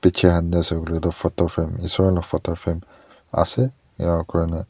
bichae han tae asa koiley tu photo frame isor la photo frame ase enakurna--